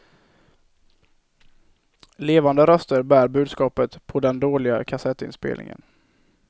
Levande röster bär budskapet på den dåliga kassettinspelningen.